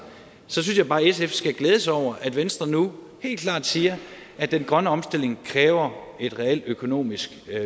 synes jeg bare at sf skal glæde sig over at venstre nu helt klart siger at den grønne omstilling kræver et reelt økonomisk